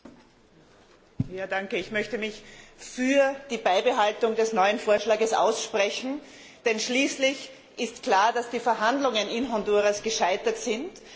Herr Präsident! Ich möchte mich für die Beibehaltung des neuen Vorschlags aussprechen, denn schließlich ist klar, dass die Verhandlungen in Honduras gescheitert sind.